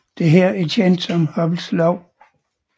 Dette er kendt som Hubbles lov